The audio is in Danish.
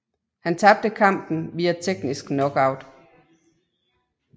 Han tabte kampen via teknisk knockout